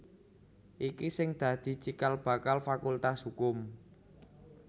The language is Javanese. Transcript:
iki sing dadi cikal bakal Fakultas Hukum